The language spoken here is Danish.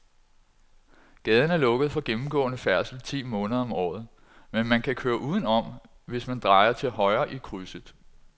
Gaden er lukket for gennemgående færdsel ti måneder om året, men man kan køre udenom, hvis man drejer til højre i krydset.